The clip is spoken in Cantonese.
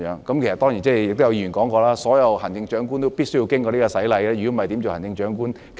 當然，亦有議員說過，所有行政長官都必須經過這個洗禮，否則怎樣做行政長官？